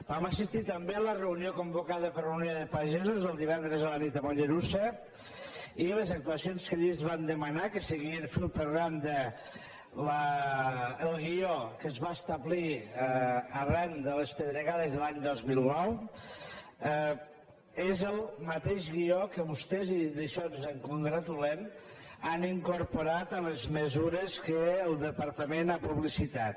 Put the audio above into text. vam assistir també a la reunió convocada per unió de pagesos el divendres a la nit a mollerussa i les actuacions que allí ens van demanar seguien fil per randa el guió que es va establir arran de les pedregades de l’any dos mil nou que és el mateix guió que vostès i d’això ens en congratulem han incorporat a les mesures que el departament ha publicitat